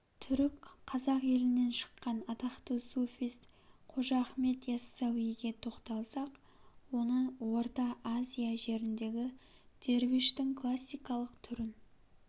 түрік қазақ елінен шыкқан атақты суфист қожа ахмет иассауиге тоқталсақ оны орта азия жеріндегі дервиштің классикалық түрін